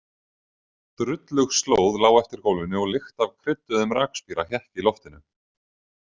Drullug slóð lá eftir gólfinu og lykt af krydduðum rakspíra hékk í loftinu.